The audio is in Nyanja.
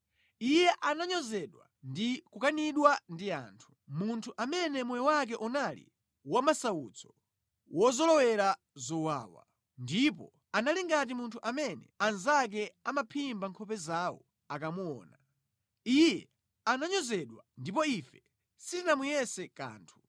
Iye ananyozedwa ndi kukanidwa ndi anthu, munthu amene moyo wake unali wamasautso, wozolowera zowawa, ndipo anali ngati munthu amene anzake amaphimba nkhope zawo akamuona. Iye ananyozedwa, ndipo ife sitinamuyese kanthu.